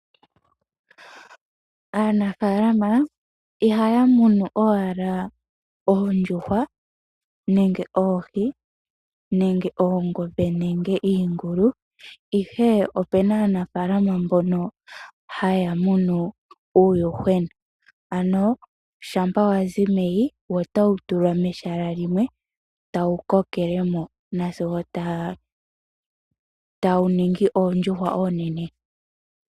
Aanafaalama ihaya munu owala oondjuhwa nenge oohi, nenge oongombe nenge iingulu. Ihe opuna aanafaalama mbono haya munu uuyuhwena, ano shampa wazi meyi wo otawu tulwa mehala limwe wu kokelemo nazigo tawu ningi oondjuhwa oonene.